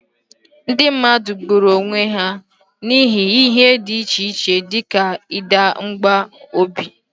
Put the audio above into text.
Ndị mmadụ gburu onwe ha n'ihi ihe dị iche iche dị ka ịda mbà n'obi.